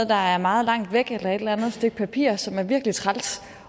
der er meget langt væk eller et eller andet stykke papir som er virkelig træls